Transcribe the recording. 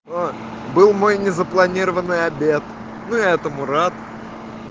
был мой незапланированный обед ну этому рад